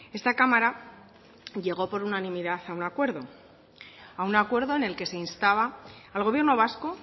esta cámara llegó por unanimidad a un acuerdo a un acuerdo en el que se instaba al gobierno vasco